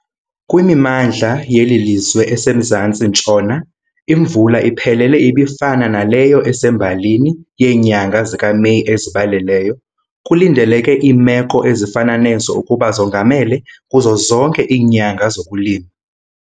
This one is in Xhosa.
Kwimimandla yeli lizwe esemzantsi-ntshona, imvula iphelele ibifana naleyo esembalini yeenyanga zikaMeyi ezibaleleyo. Kulindeleke iimeko ezifana nezo ukuba zongamele kuzo zonke iinyanga zokulima.